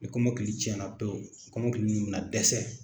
Ni kɔmɔkili tiɲɛ pewu, ni kɔmɔkilii nunnu bɛna dɛsɛ.